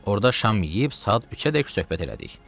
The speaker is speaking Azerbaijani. Orda şam yeyib saat 3-ədək söhbət elədik.